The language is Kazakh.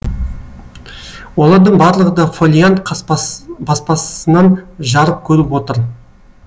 олардың барлығы да фолиант баспасынан жарық көріп отыр